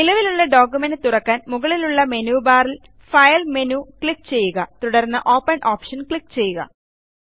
നിലവിലുള്ള ഡോക്യുമെന്റ് തുറക്കാൻ മുകളിലുള്ള മെനു ബാറിൽ ഫൈൽ മെനു ക്ലിക്ക് ചെയ്യുക തുടർന്ന് ഓപ്പൻ ഓപ്ഷൻ ക്ലിക്ക് ചെയ്യുക